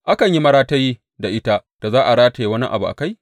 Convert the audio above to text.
Akan yi maratayi da ita da za a rataya wani abu a kai?